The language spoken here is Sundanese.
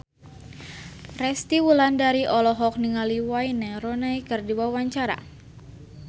Resty Wulandari olohok ningali Wayne Rooney keur diwawancara